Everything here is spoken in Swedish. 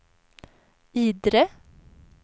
Idre